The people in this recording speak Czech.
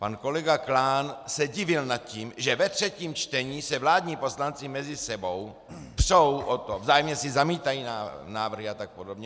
Pan kolega Klán se divil nad tím, že ve třetím čtení se vládní poslanci mezi sebou přou o to - vzájemně si zamítají návrhy a tak podobně.